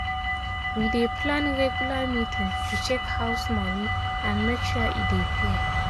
we dey plan regular meeting to check house money and make sure e dey fair.